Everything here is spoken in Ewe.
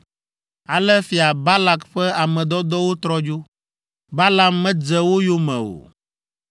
Ale Fia Balak ƒe ame dɔdɔwo trɔ dzo, Balaam medze wo yome o.